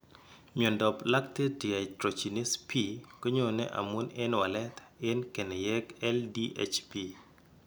Myondap lactate dehydrogenase B konyoone amun en walet en keneyeek LDHB.